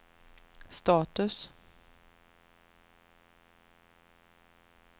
status